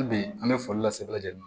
Hali bi an bɛ foli lase lajɛli ma